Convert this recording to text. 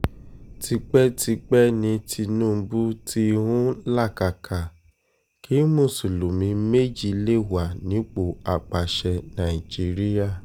tipẹ́tipẹ́ ni tinubu tí ń làkàkà kí mùsùlùmí méjì lè wà nípò àpasẹ̀ nàìjíríà